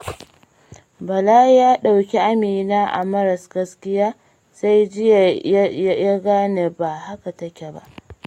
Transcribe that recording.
Bala ya ɗauki Amina a matsayin maras gaskiya, sai jiya ya gane ba haka take ba.